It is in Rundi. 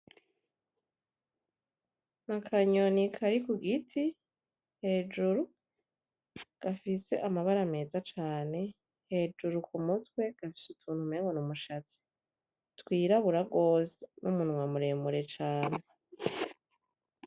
Akanyoni kari ku giti hejuru , gafise amabara meza cane hejuru ku mutwe gafise utuntu umengo n’umushatsi twirabura gose n’umunwa muremure cane.